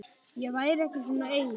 Ég væri ekki svona ein.